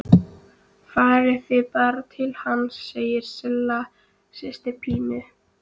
Farið þið bara til hans, segir Silla systir Pínu.